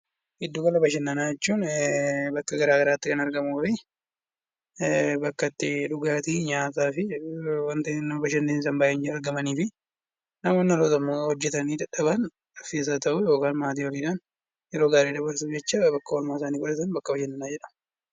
Giddu gala bashannanaa jechuun bakka garaagaraatti kan argamu ta'ee bakka itti nyaataa fi dhugaatii wantoonni nama bashannansiisan baay'een jiranii fi namoonni yeroo hojjatanii dadhaban yeroo gaarii dabarsuudhaaf maatii isaanii waliin oolanidha.